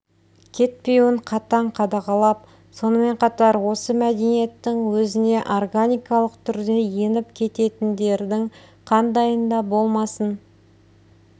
кетпеуін қатаң қадағалап сонымен қатар осы мәдениеттің өзіне органикалық түрде еніп кететіндердің қандайын да болмасын